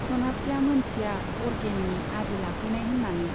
सनाथिया मोनथिया, अरगेनि आदि लाफैनाय होन्नानै।